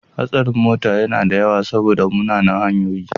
Hatsarin mota yana da yawa saboda munanan hanyoyi.